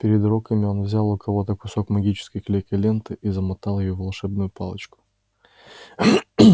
перед уроками он взял у кого-то кусок магической клейкой ленты и замотал ею волшебную палочку